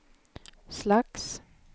slags